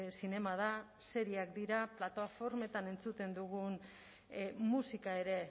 zinema da serieak dira plataformetan entzuten dugun musika ere